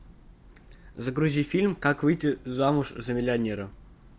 загрузи фильм как выйти замуж за миллионера